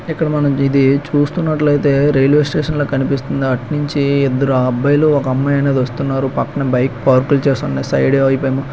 ఇక్కడ ఇది మనం స్తున్నట్లయితే రైల్వేస్టేషన్ కనిపిస్తోంది. అటు నుంచి ఇద్దరు అబ్బాయిలు ఒక అమ్మాయి వస్తున్నారు. పక్కన బైక్ పార్క్ చేసి ఉన్న--